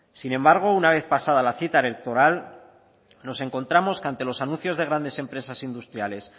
sin embargo una vez pasada la cita electoral nos encontramos que ante los anuncios de grandes empresas industriales